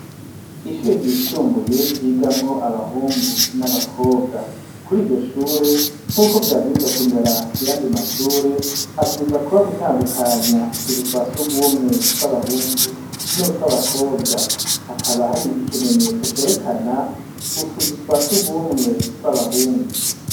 Ishure ryisumbuye ryigamwo abahungu n'abakobwa kuri iryo shure nk'uko vyabwiza kumera kuyandi mashure habwiza kuba gutandukanya utuzu twasugumwe tw'abahungu nutw'abakobwa hakaba hari ikimenyetso cerekana utuzu twasugumwe tw'abahungu.